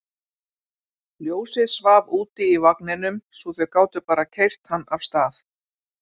Ljósið svaf úti í vagninum svo þau gátu bara keyrt hann af stað.